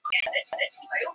Þverreft var yfir dyrnar.